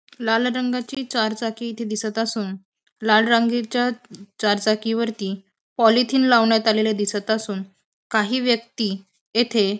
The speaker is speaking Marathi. लाल रंगाची चार चाकी इथे दिसत असून लाल रांगीच्या चार चाकी वरती पॉलिथिन लावण्यात आलेल दिसत असून काही व्यक्ती येथे --